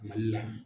Mali la